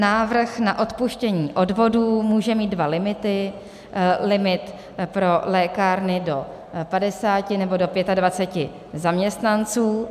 Návrh na odpuštění odvodů může mít dva limity - limit pro lékárny do 50, nebo do 25 zaměstnanců.